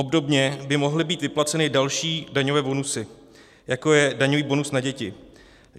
Obdobně by mohly být vyplaceny další daňové bonusy, jako je daňový bonus na děti.